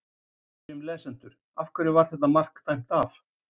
Við spyrjum lesendur: Af hverju var þetta mark dæmt af?